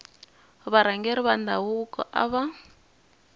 varhangeri va ndhavuko a va